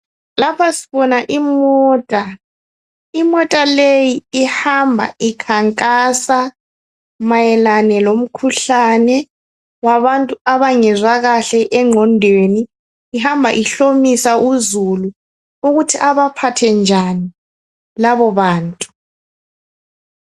Lapha sibona imota ,imota leyi ihamba ikhankasa mayelane lomkhuhlane wabantu abangezwa kahle engqondweni ihamba ihlomisa uzulu ukuthi abaphathe njani labobantu.